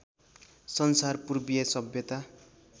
संसार पूर्वीय सभ्यता